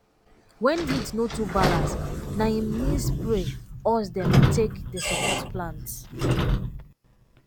when heat no too balance na in nee spray us dey take dey support plants